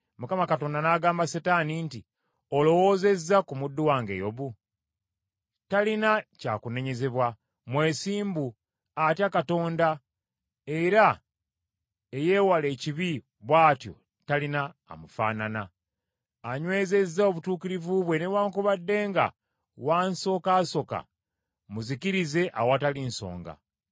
Mukama Katonda n’agamba Setaani nti, “Olowoozezza ku muddu wange Yobu? Talina kyakunenyezebwa, mwesimbu, atya Katonda era eyeewala ekibi bw’atyo talina amufaanana. Anywezezza obutuukirivu bwe newaakubadde nga wansokasoka mmuzikirize awatali nsonga.”